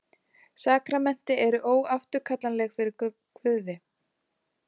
Sakramenti eru óafturkallanleg fyrir Guði.